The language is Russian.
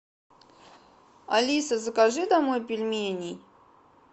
алиса закажи домой пельменей